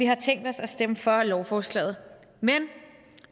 har tænkt os at stemme for lovforslaget men